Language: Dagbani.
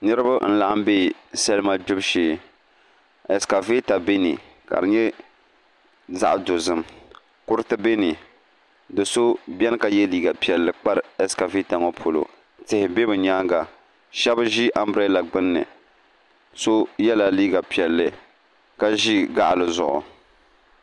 Niraba n laɣam bɛ salima gbibu shee ɛskavɛta bɛ ni ka di nyɛ zaɣ dozim kuriti bɛ ni do so biɛni ka yɛ liiga piɛlli kpari ɛskavɛta ŋo polo tihi bɛ bi nyaanga shab ʒi anbirɛla gbunni so yɛla liiga piɛlli ka ʒi gaɣali zuɣu